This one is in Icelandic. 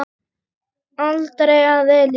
Aldrei að eilífu.